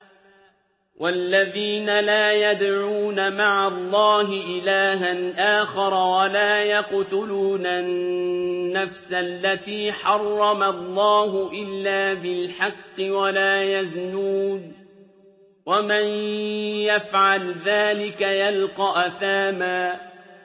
وَالَّذِينَ لَا يَدْعُونَ مَعَ اللَّهِ إِلَٰهًا آخَرَ وَلَا يَقْتُلُونَ النَّفْسَ الَّتِي حَرَّمَ اللَّهُ إِلَّا بِالْحَقِّ وَلَا يَزْنُونَ ۚ وَمَن يَفْعَلْ ذَٰلِكَ يَلْقَ أَثَامًا